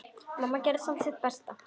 Mamma gerði samt sitt besta.